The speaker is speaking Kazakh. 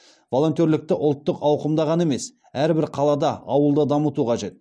волонтерлікті ұлттық ауқымда ғана емес әрбір қалада ауылда дамыту қажет